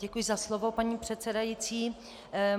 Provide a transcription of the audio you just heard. Děkuji za slovo, paní předsedající.